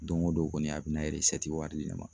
Don o don kɔni a bɛna wari di ne ma.